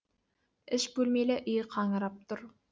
үш бөлмелі үй қаңырап тұр